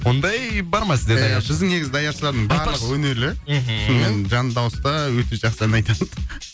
ондай бар ма сіздерде біздің негізі даяшылардың барлығы өнерлі мхм сонымен жанды дауыста өте жақсы ән айтады